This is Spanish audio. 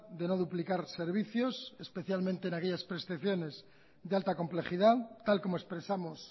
de no duplicar servicios especialmente en aquellas prestaciones de alta complejidad tal como expresamos